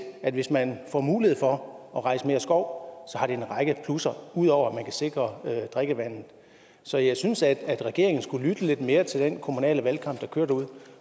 at hvis man får mulighed for at rejse mere skov har det en række plusser ud over at man kan sikre drikkevandet så jeg synes at regeringen skulle lytte lidt mere til den kommunale valgkamp der kører derude